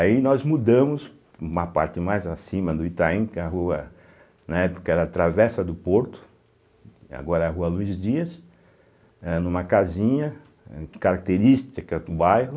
Aí nós mudamos para uma parte mais acima do Itaim, que é uma rua, na época era a Travessa do Porto, agora é a Rua Luiz Dias, eh numa casinha eh característica do bairro.